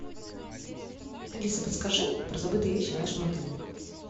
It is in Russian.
алиса подскажи про забытые вещи в нашем отеле